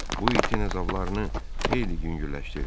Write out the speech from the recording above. Bu itin əzablarını xeyli yüngülləşdirdi.